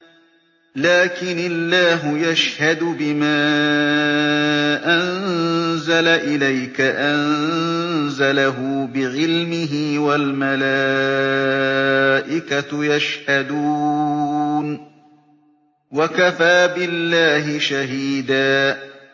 لَّٰكِنِ اللَّهُ يَشْهَدُ بِمَا أَنزَلَ إِلَيْكَ ۖ أَنزَلَهُ بِعِلْمِهِ ۖ وَالْمَلَائِكَةُ يَشْهَدُونَ ۚ وَكَفَىٰ بِاللَّهِ شَهِيدًا